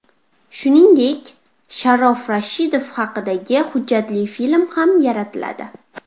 Shuningdek, Sharof Rashidov haqida hujjatli film ham yaratiladi.